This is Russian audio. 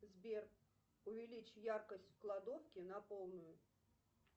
сбер увеличь яркость в кладовке на полную